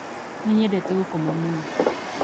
Nĩ nyendete gũkoma mũno